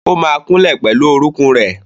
ó ma kúnlẹ̀ pẹ̀lú orókún rẹ̀.